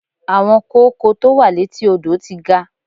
Àwọn kóókò tó wà létí odò ti ga.